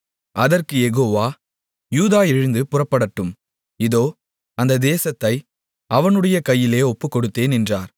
அதற்குக் யெகோவா யூதா எழுந்து புறப்படட்டும் இதோ அந்த தேசத்தை அவனுடைய கையிலே ஒப்புக்கொடுத்தேன் என்றார்